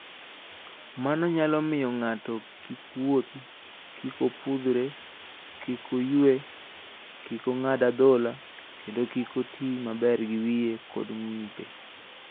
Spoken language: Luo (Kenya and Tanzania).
Mano nyalo miyo ng'ato kik wuothi, kik opudhre, kik oyue, kik ong'ad adhola, kendo kik oti maber gi wiye kod ng'ute.